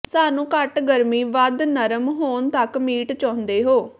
ਸਾਨੂੰ ਘੱਟ ਗਰਮੀ ਵੱਧ ਨਰਮ ਹੋਣ ਤੱਕ ਮੀਟ ਚਾਹੁੰਦੇ ਹੋ